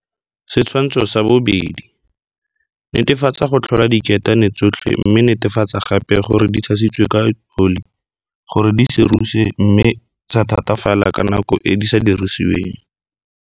Setshwantsho sa 2, netefatsa go tlhola diketane tsotlhe mme netefatsa gape gore di tshasiwe ka oli gore di se ruse mme tsa thatafala ka nako e di sa dirisiweng.